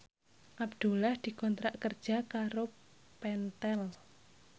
Abdullah dikontrak kerja karo Pentel